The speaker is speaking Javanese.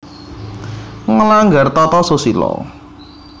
Nglanggar tata susila